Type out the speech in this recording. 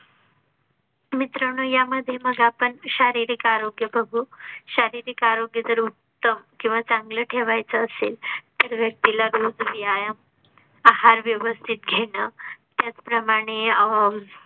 मित्रांनो यामध्ये मग आपण शारीरिक आरोग्या बघु, शारीरिक आरोग्य तर उत्तम. केव्हा चांगले ठेवाय चे असेल. तर व्यक्तीला रोज व्यायाम आहार व्यवस्थित घेणं. त्याचप्रमाणे